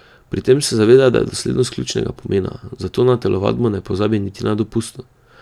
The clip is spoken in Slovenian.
Pri tem se zaveda, da je doslednost ključnega pomena, zato na telovadbo ne pozabi niti na dopustu.